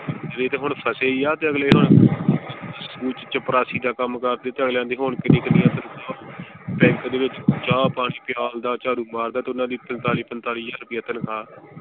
ਤੇ ਹੁਣ ਫੱਸੇ ਹੀ ਆ ਤੇ ਅਗਲੇ ਹੁਣ ਚਪੜਾਸੀ ਦਾ ਕੰਮ ਕਰਦੇ ਤਾਂ ਅਗਲਿਆਂ ਦੀ ਹੁਣ ਕਿੰਨੀ ਕਿੰਨੀ ਦੇ ਵਿਚ ਚਾਹ ਪਾਣੀ ਪਿਆਲਦਾ ਝਾੜੂ ਮਾਰਦਾ ਤੇ ਓਹਨਾ ਦੀ ਪੰਤਾਲੀ ਪੰਤਾਲੀ ਹਜ਼ਾਰ ਰੁਪਇਆ ਤਨਖਾ।